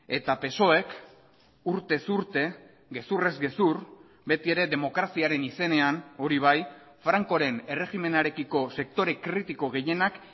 eta psoek urtez urte gezurrez gezur beti ere demokraziaren izenean hori bai frankoren erregimenarekiko sektore kritiko gehienak